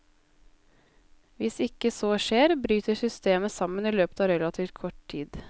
Hvis ikke så skjer, bryter systemet sammen i løpet av relativt kort tid.